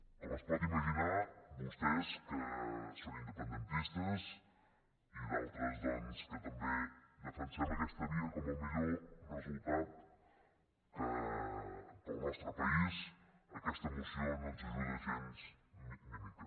com es pot imaginar a vostès que són independentistes i d’altres doncs que també defensem aquesta via com el millor resultat per al nostre país aquesta moció no ens ajuda gens ni mica